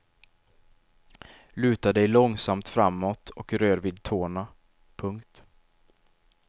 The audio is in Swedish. Luta dig långsamt framåt och rör vid tårna. punkt